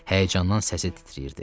Həyəcandan səsi titrəyirdi.